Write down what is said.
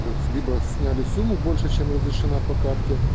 то есть либо сняли сумму больше чем разрешена по карте